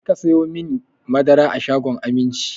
Ta fi ka sayo mani madara a shagon Aminci!